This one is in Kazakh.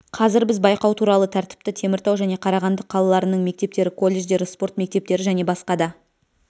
қазір біз байқау туралы тәртіпті теміртау және қарағанды қалаларының мектептері колледждері спорт мектептері және басқа да